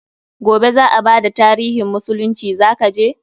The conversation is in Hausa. Gobe za a bada tarihin musulunci, za ka je?